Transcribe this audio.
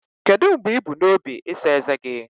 Kedu mgbe ị bu n'obi ịsa ezé gị?